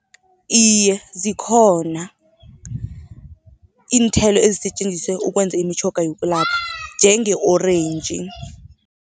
Iye zikhona, iinthelo ezisetjenziswa ukwenza imitjhoga yokulapha njenge-orentji.